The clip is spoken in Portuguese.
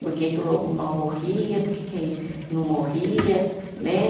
Por que que o lobo mal morria, por que que não morria, né?